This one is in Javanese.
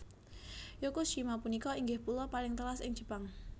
Yakushima punika inggih pulo paling telas ing Jepang